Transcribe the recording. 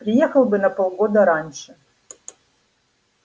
приехал бы на полгода раньше